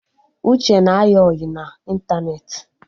Uche na-ayị ọyị na ịntanetị